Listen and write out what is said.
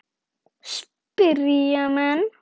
spyrja menn.